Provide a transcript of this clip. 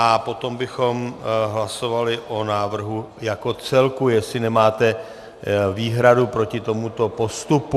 A potom bychom hlasovali o návrhu jako celku, jestli nemáte výhradu proti tomuto postupu.